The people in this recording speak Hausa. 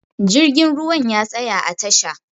Jirgin ruwa ya tsaya a tasha